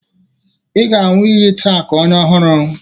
Ị ga-aṅụ iyi taa ka onye ọhụrụ